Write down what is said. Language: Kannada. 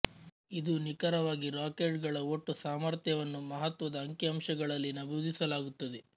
ಇದು ನಿಖರವಾಗಿ ರಾಕೆಟ್ ಗಳ ಒಟ್ಟು ಸಾಮರ್ಥ್ಯವನ್ನು ಮಹತ್ವದ ಅಂಕಿಅಂಶಗಳಲ್ಲಿ ನಮೂದಿಸಲಾಗುತ್ತದೆ